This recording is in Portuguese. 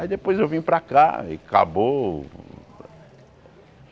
Aí depois eu vim para cá e acabou.